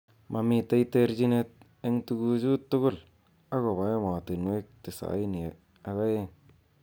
Momitei terjinet eng tukujut tugul akobo emotunwek tisaini ak aeng.